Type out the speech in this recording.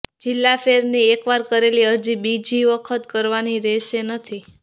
જિલ્લા ફેરની એકવાર કરેલી અરજી બીજી વખત કરવાની રહેશે નથી